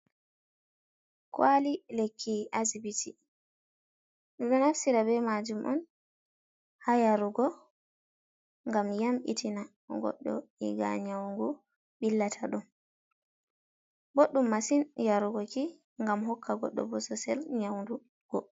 Kwali lekki asbiti ɓeɗo naftira be majum on ha yarugo ngam yambitina goɗɗo dagaa nyau ngu billata ɗum, boɗɗum masin yarugoki ngam hokka goɗɗo bosesel nyaudugo.